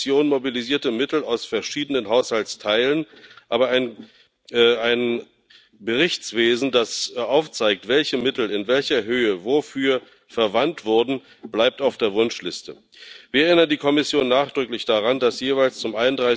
Die Kommission mobilisierte Mittel aus verschiedenen Haushaltsteilen, aber ein Berichtswesen, das aufzeigt, welche Mittel in welcher Höhe wofür verwandt wurden, bleibt auf der Wunschliste. Wir erinnern die Kommission nachdrücklich daran, dass jeweils zum